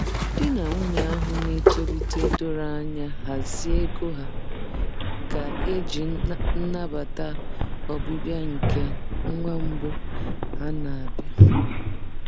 Di na nwunye ahụ na-etolite doro anya hazie ego ha ga-eji nabata ọbịbịa nke nwa mbụ ha na-abịa.